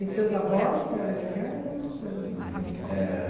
E seus avós eram italianos, eram?